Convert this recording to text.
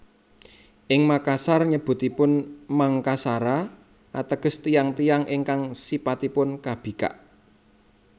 Ing Makassar nyebutipun Mangkasara ateges Tiyang tiyang ingkang sipatipun kabikak